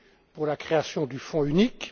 pour la création du fonds unique.